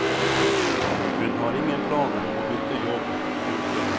Hun har ingen planer om å bytte jobb. punktum